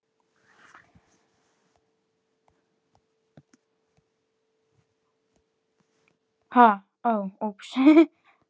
Ingi, hvað er að frétta?